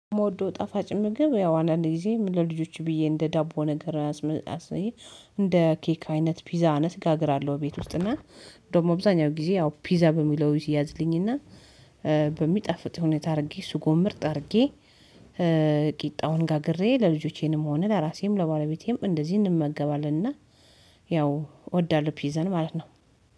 የምወደው ጣፋጭ ምግብ ያው አንዳንዴ ጊዜ ለልጆች ብዬ እንደ ዳቦ ነገር አስመጣስልኝ። እንደ ኬክ አይነት ፒዛ አነስ ጋር አገር አለው ቤት ውስጥ እና ደግሞ በብዛኛው ጊዜ ያው ፒዛ በሚለው ይይዝልኝ እና በሚጠፍጥ ሁኔታ አድርጌ እሱ ጎን ምርጥ አድርጌ ቂጣውን ጋግሬ ለልጆቼንም ሆነ ለራሴም ለባለቤቴም እንደዚህ እንመገባለን። እና ያው እወዳለሁ ፒዘን ማለት ነው